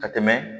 Ka tɛmɛ